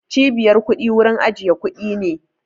Cibiyar kuɗi wurin ajiye kuɗi ne